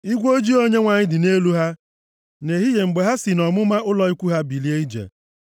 Igwe ojii Onyenwe anyị dị nʼelu ha nʼehihie mgbe ha si nʼọmụma ụlọ ikwu ha bilie ije.